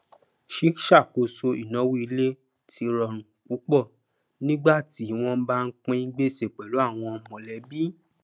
sì ṣàkóso ìnáwó ilé tí rọrùn púpọ nígbà tí wọn bá ń pín gbèsè pẹlú àwọn mọlẹbí